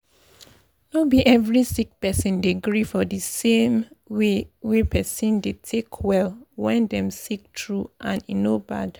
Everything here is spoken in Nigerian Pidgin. no be every sick person dey gree for d same way wey pesin dey take well wen dem sick true and e no bad.